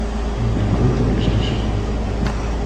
время работы ближайшего вокзала